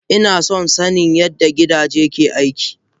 Inason sanin yadda gidaje ke aiki.